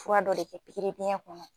Fura dɔ de kɛ pikiri biyɛn kɔnɔ